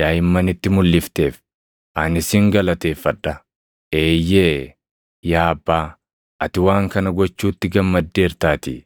daaʼimmanitti mulʼifteef ani sin galateeffadha. Eeyyee yaa Abbaa, ati waan kana gochuutti gammaddeertaatii.